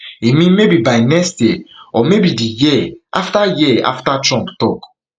e mean maybe by next year or maybe di year after year after trump tok